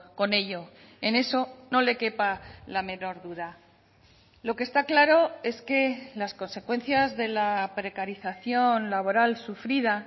con ello en eso no le quepa la menor duda lo que está claro es que las consecuencias de la precarización laboral sufrida